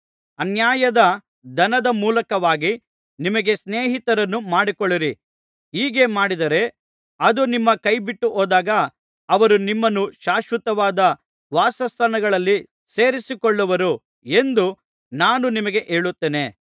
ಅನ್ಯಾಯದ ಧನದ ಮೂಲಕವಾಗಿ ನಿಮಗೆ ಸ್ನೇಹಿತರನ್ನು ಮಾಡಿಕೊಳ್ಳಿರಿ ಹೀಗೆ ಮಾಡಿದರೆ ಅದು ನಿಮ್ಮ ಕೈಬಿಟ್ಟುಹೋದಾಗ ಅವರು ನಿಮ್ಮನ್ನು ಶಾಶ್ವತವಾದ ವಾಸಸ್ಥಾನಗಳಲ್ಲಿ ಸೇರಿಸಿಕೊಳ್ಳುವರು ಎಂದು ನಾನು ನಿಮಗೆ ಹೇಳುತ್ತೇನೆ